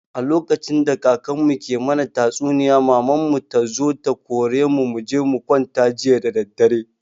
A lokacin da kakan mu ke mana tatsuniya maman mu tazo ta kore mu muje mukwanta jiya dadadare